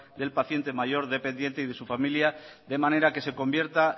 del paciente mayor dependiente y de su familia de manera que se convierta